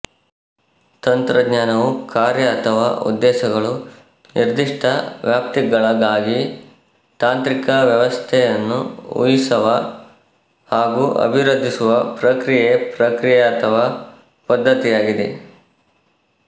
ತಂತ್ರಜ್ಞಾನವು ಕಾರ್ಯ ಅಥವಾ ಉದ್ದೇಶಗಳು ನಿರ್ದಿಷ್ಟ ವ್ಯಾಪ್ತಿಗಳಾಗಾಗಿ ತಾಂತ್ರಿಕ ವ್ಯವಸ್ಥೆಯನ್ನು ಊಹಿಸವ ಹಾಗೂ ಅಭಿವೃದ್ಧಿಸುವ ಪ್ರಕ್ರಿಯೆ ಪ್ರಕ್ರಿಯೆ ಅಥವಾ ಪದ್ದತಿಯಾಗಿದೆ